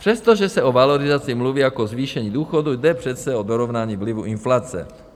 Přestože se o valorizaci mluví jak o zvýšení důchodů, jde přece o dorovnání vlivu inflace.